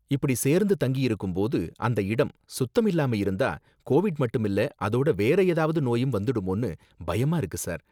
இப்படி சேர்ந்து தங்கியிருக்கும் போது, அந்த இடம் சுத்தம் இல்லாம இருந்தா கோவிட் மட்டும் இல்ல, அதோட வேற ஏதாவது நோயும் வந்துடுமோன்னு பயமா இருக்கு சார்.